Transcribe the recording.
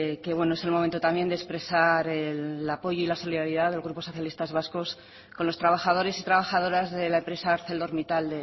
es el momento también de expresar el apoyo y la solidaridad al grupo socialistas vascos con los trabajadores y trabajadoras de la empresa arcelormittal